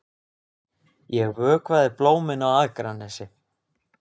Ég vökvaði blómin á Akranesi.